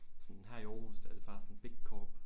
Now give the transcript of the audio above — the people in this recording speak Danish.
sådan her i Aarhus der er det bare sdåan big corp